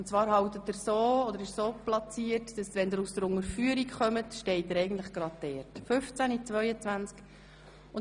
Und zwar wird er direkt bei der Unterführung halten.